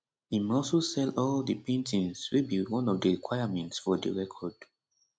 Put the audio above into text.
im also sell all di paintings wey be one of di requirement for di record